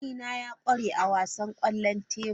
Kanena ya kware a wasan kwallon tebur.